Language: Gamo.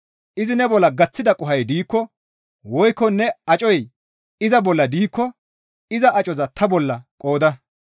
Izi ne bolla gaththida qohoy diikko woykko ne acoy iza bolla diikko iza acoza ta bolla qooda.